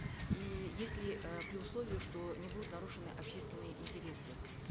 и если э при условии что не будут нарушены общественные интересы